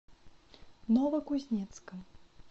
новокузнецком